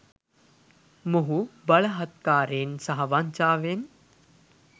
මොහු බලහත්කාරයෙන් සහ වංචාවෙන්